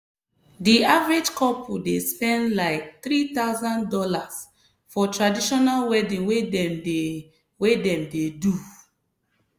di average couple dey spend like three thousand dollars for traditional wedding wey dem dey wey dem dey do.